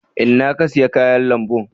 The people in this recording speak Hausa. Inna ka siya kayan lambun?